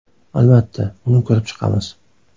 Albatta, uni ko‘rib chiqamiz.